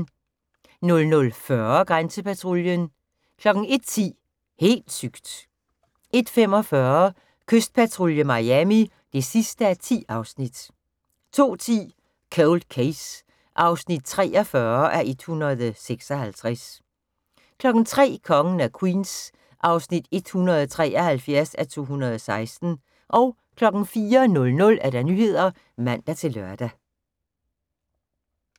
00:40: Grænsepatruljen 01:10: Helt sygt! 01:45: Kystpatrulje Miami (10:10) 02:10: Cold Case (43:156) 03:00: Kongen af Queens (173:216) 04:00: Nyhederne (man-lør)